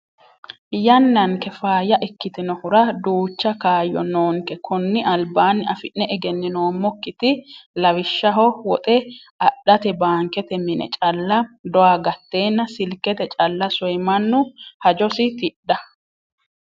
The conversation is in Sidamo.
Yannanke faayya ikkitinohura duucha kayyo noonke koni albaani afi'ne egeninoommokkiti lawishshaho woxe adhate baankete mine calla doya gatenna silkete calla soye mannu hajosi tidha.